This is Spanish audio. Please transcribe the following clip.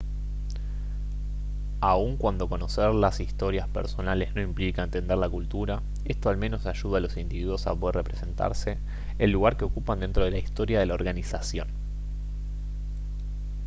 aun cuando conocer las historias personales no implica entender la cultura esto al menos ayuda a los individuos a poder representarse el lugar que ocupan dentro de la historia de la organización